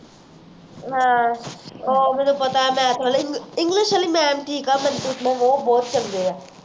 ਹਾਂ ਉਹ ਮੈਨੂੰ ਪਤਾ ਹੈ math ਵਾਲੇ english ਵਾਲੀ mam ਠੀਕ ਹੈ ਮਨਪ੍ਰੀਤ mam ਉਹ ਬਹੁਤ ਚੰਗੇ ਹਾ